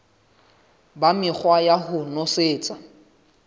ba mekgwa ya ho nosetsa